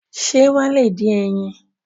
Ṣé wọ́n lè dín ẹyin?